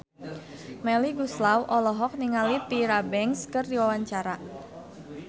Melly Goeslaw olohok ningali Tyra Banks keur diwawancara